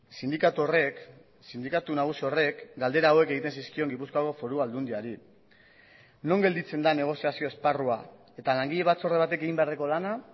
sindikatu horrek sindikatu nagusi horrek galdera hauek egiten zizkion gipuzkoako foru aldundiari non gelditzen da negoziazio esparrua eta langile batzorde batek egin beharreko lana